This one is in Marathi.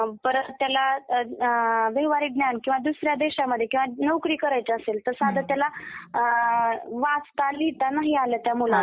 परत त्याला व्यावहारिक ज्ञान किंवा दुसऱ्या देशामध्ये नोकरी करायची असेल तर साधं त्याला अं वाचता लिहिता नाही आलं त्या मुलाला...